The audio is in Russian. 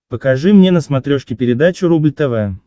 покажи мне на смотрешке передачу рубль тв